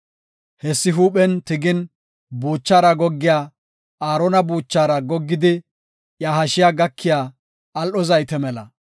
Hessi huuphen tigin, buuchaara goggiya, Aarona buuchaara goggidi iya hashiya gakiya al7o zayte mela.